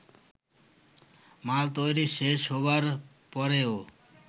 মাল তৈরি শেষ হবার পরেও